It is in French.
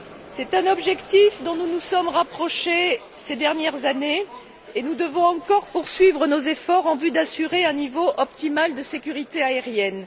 C'est un objectif dont nous nous sommes rapprochés ces dernières années et nous devons encore poursuivre nos efforts en vue d'assurer un niveau optimal de sécurité aérienne.